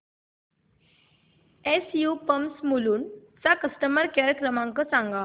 SU pumps Mulund चा customer care क्रमांक सांगा